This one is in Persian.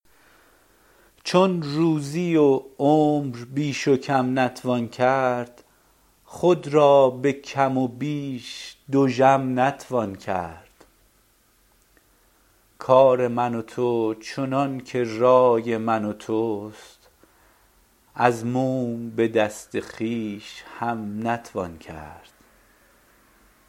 چون روزی و عمر بیش و کم نتوان کرد خود را به کم و بیش دژم نتوان کرد کار من و تو چنانکه رای من و توست از موم به دست خویش هم نتوان کرد